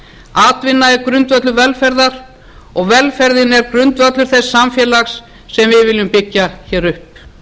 atvinna er grundvöllur velferðar og velferðin er grundvöllur þess samfélags sem við viljum byggja upp við jafnaðarmenn höfum